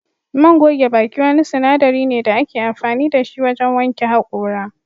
Man goge baki wani sinadari ne da ake amfani da shi wajen wanke hakora